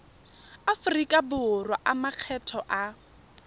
aforika borwa a makgetho a